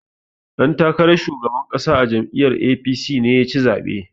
Ɗan takaran shugaban ƙasa a jam'iyyar A.P.C ne ya ci zaɓen.